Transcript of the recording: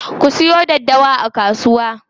Ku siyo daddawa a kasuwa.